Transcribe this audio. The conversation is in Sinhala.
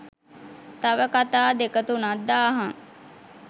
තව කතා දෙක තුනක් දාහං